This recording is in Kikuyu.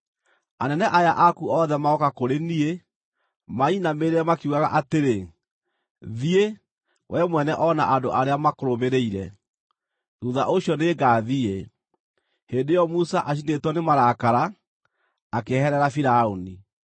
Anene aya aku othe magooka kũrĩ niĩ, manyinamĩrĩre makiugaga atĩrĩ, ‘Thiĩ, we mwene o na andũ arĩa makũrũmĩrĩire!’ Thuutha ũcio nĩngathiĩ.” Hĩndĩ ĩyo Musa, acinĩtwo nĩ marakara, akĩeherera Firaũni.